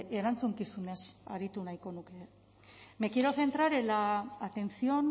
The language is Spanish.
erantzukizunez aritu nahiko nuke me quiero centrar en la atención